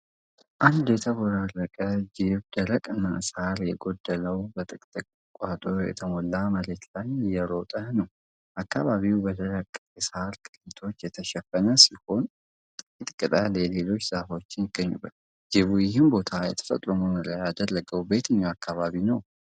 አንድ የተቦራረቀ ጅብደረቅና ሳር የጎደለው በጥቅጥቅ ቁጥቋጦ የተሞላ መሬት ላይ እየሮጠ ነው። አከባቢው በደረቁ የሳር ቅሪቶች የተሸፈነ ሲሆን፣ ጥቂት ቅጠል የሌላቸው ዛፎችም ይገኙበታል። ጅቡ ይህንን ቦታ የተፈጥሮ መኖሪያ ያደረገው በየትኛው የአፍሪካ አካባቢ ነው?